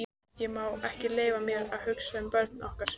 Ég má ekki leyfa mér að hugsa um börnin okkar.